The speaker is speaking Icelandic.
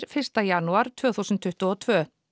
fyrsta janúar tvö þúsund tuttugu og tvö